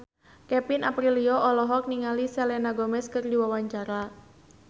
Kevin Aprilio olohok ningali Selena Gomez keur diwawancara